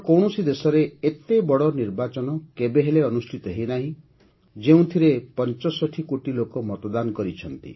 ବିଶ୍ୱର କୌଣସି ଦେଶରେ ଏତେ ବଡ଼ ନିର୍ବାଚନ କେବେହେଲେ ଅନୁଷ୍ଠିତ ହୋଇନାହିଁ ଯେଉଁଥିରେ ୬୫ କୋଟି ଲୋକ ମତଦାନ କରିଛନ୍ତି